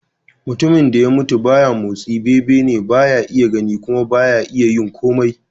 Mutumin da ya mutu ba ya motsi, bebene, ba ya iya gani kuma ba ya yin komai.